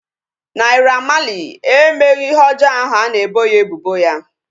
Naira Marley emeghị ihe ọjọọ ahu a na-ebo ya ebubo ya